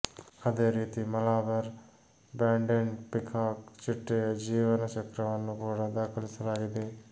ಅದೇ ರೀತಿ Malabar banded peacock ಚಿಟ್ಟೆಯ ಜೀವನ ಚಕ್ರವನ್ನು ಕೂಡ ದಾಖಲಿಸಲಾಗಿದೆ